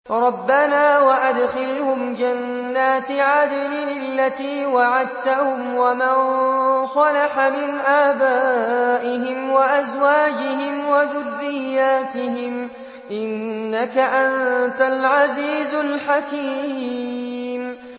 رَبَّنَا وَأَدْخِلْهُمْ جَنَّاتِ عَدْنٍ الَّتِي وَعَدتَّهُمْ وَمَن صَلَحَ مِنْ آبَائِهِمْ وَأَزْوَاجِهِمْ وَذُرِّيَّاتِهِمْ ۚ إِنَّكَ أَنتَ الْعَزِيزُ الْحَكِيمُ